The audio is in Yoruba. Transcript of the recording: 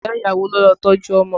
Ìyá ìyàwó ló lọ tọ́jú ọmọ